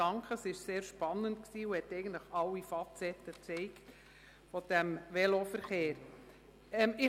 Sie war sehr spannend und hat eigentlich alle Facetten dieses Veloverkehrs gezeigt.